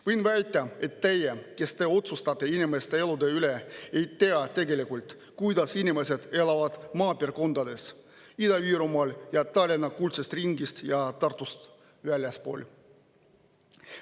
Võin väita, et teie, kes te otsustate inimeste elude üle, ei tea tegelikult, kuidas elavad inimesed maapiirkondades, Ida-Virumaal ja üldse Tallinna kuldsest ringist ja Tartust väljaspool.